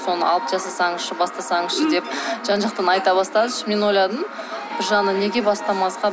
соны алып жазсаңызшы бастасаңызшы деп жан жақтан айта бастады ішімнен ойладым бір жағынан неге бастамасқа